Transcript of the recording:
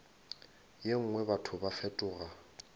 ye nngwe batho ba fetoga